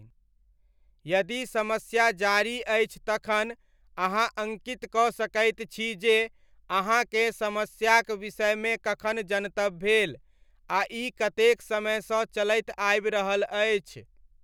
यदि समस्या जारी अछि तखन अहाँ अङ्कित कऽ सकैत छी जे अहाँकेँ समस्याक विषयमे कखन जनतब भेल आ ई कतेक समयसँ चलैत आबि रहल अछि।